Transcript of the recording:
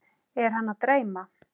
Er hana að dreyma?